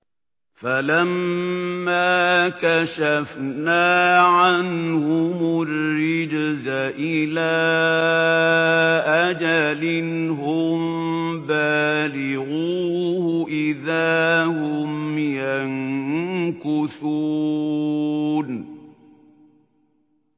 فَلَمَّا كَشَفْنَا عَنْهُمُ الرِّجْزَ إِلَىٰ أَجَلٍ هُم بَالِغُوهُ إِذَا هُمْ يَنكُثُونَ